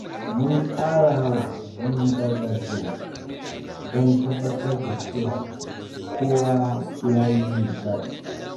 Mun tsara wasannin gargajiya don tabbatar da cewa kowa ya yi nishaɗi.